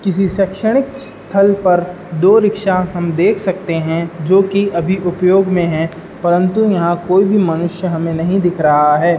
किसी से शैक्षणिक स्थल पर दो रिक्शा हम देख सकते हैं जो कि अभी उपयोग में है परंतु यहां कोई भी मनुष्य हमें नहीं दिख रहा है।